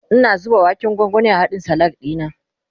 Ina zuba waken gwangwani a hadkn Salak dina